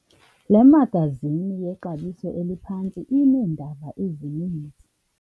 Le magazini yexabiso eliphantsi ineendaba ezininzi.